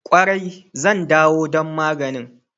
Kwarai, zan ɗawo don maganin.